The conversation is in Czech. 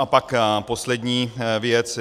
A pak poslední věc.